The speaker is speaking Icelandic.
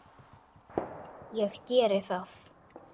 Ég geri það